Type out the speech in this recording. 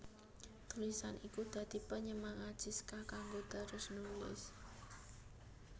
Tulisan iku dadi panyemangat Siska kanggo terus nulis